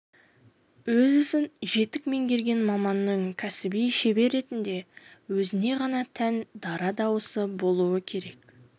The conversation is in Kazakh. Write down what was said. өз ісін жетік меңгерген маманның кәсіби шебер ретінде өзіне ғана тән дара дауысы болуы керек